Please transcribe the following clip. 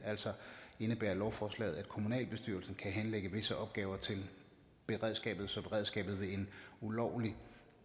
altså indebærer lovforslaget at kommunalbestyrelsen kan henlægge visse opgaver til beredskabet så beredskabet i en ulovlig